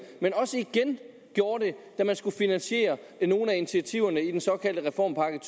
men også igen gjorde det da man skulle finansiere nogle af initiativerne i den såkaldte reformpakke